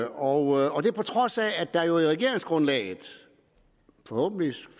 og det på trods af at der jo i regeringsgrundlaget forhåbentlig